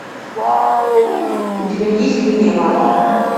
у тебя есть линия марты